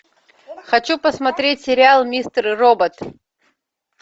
хочу посмотреть сериал мистер робот